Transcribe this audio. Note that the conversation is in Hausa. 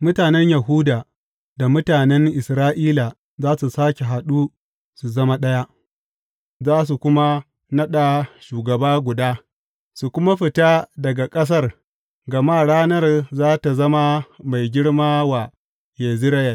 Mutanen Yahuda da mutanen Isra’ila za su sāke haɗu su zama ɗaya, za su kuma naɗa shugaba guda su kuma fita daga ƙasar, gama ranar za tă zama mai girma wa Yezireyel.